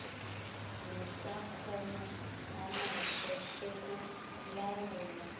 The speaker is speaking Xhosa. nesakhono anaso sokulawula